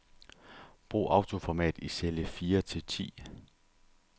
Brug autoformat i celle fire til ti.